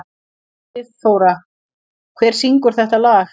Friðþóra, hver syngur þetta lag?